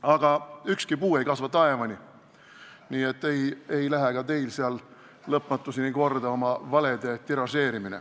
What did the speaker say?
Aga ükski puu ei kasva taevani, nii et ei lähe ka teil seal lõpmatuseni korda oma valesid tiražeerida.